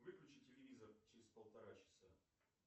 выключи телевизор через полтора часа